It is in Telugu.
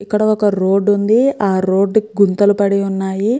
ఇక్కడ ఒక రోడ్ వుంది ఆ రోడ్ కి గుంతలు పడి ఉన్నాయి.